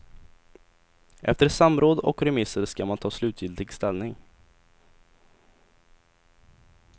Efter samråd och remisser ska man ta slutgiltig ställning.